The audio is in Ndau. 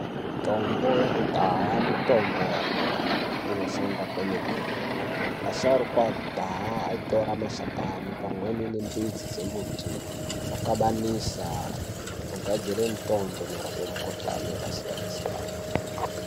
Mutombo yekudhaya mutombo inoshanda kwemene. Asharukwa ekudhaa aitora mashakani pamweni nembidzi dzemiti okabanisa ogadzira mutombo unorapa mukhuhlani yakasiyana-siyana.